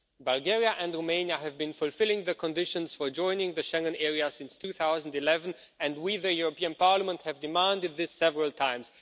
Bulgaria and Romania have been fulfilling the conditions for joining the Schengen area since 2011 and we, the European Parliament, have demanded this several times.